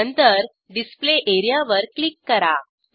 नंतर display area वर click करा